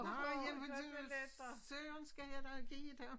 Nej jamen det hvad søren skal jeg dog give dem